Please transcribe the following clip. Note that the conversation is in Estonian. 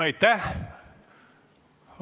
Aitäh!